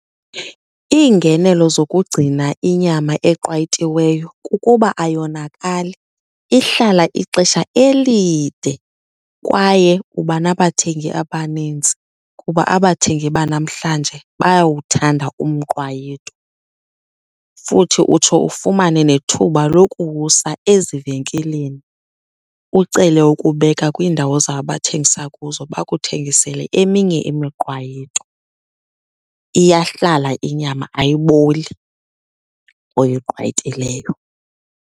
Iingenelo zokugcina inyama eqwayitiweyo kukuba ayonakali, ihlala ixesha elide kwaye uba nabathengi abanintsi kuba abathengi banamhlanje bayawuthanda umqwayito. Futhi utsho ufumane nethuba lokuwusa ezivenkileni ucele ukubeka kwiindawo zabo abathengisa kuzo bakuthengisele eminye imiqwayito. Iyahlala inyama ayiboli oyiqwayitileyo.